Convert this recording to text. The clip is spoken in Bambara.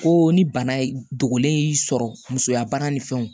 Ko ni bana dogolen y'i sɔrɔ musoya bana ni fɛnw